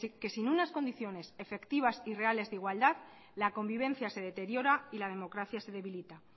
que sin unas condiciones efectivas y reales de igualdad la convivencia se deteriora y la democracia se debilita